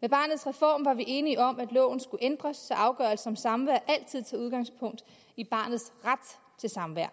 med barnets reform var vi enige om at loven skulle ændres så afgørelse om samvær altid tager udgangspunkt i barnets ret til samvær